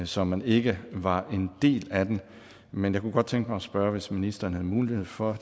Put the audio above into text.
så man ikke var en del af den men jeg kunne godt tænke mig at spørge hvis ministeren havde mulighed for